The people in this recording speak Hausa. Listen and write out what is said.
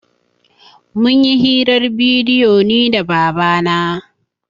Mun yi hirar bidiyo ni da baba na